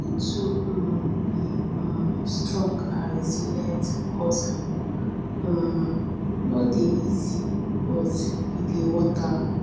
you need to be um be um strong and resilient hustling um no dey easy but e dey worth am.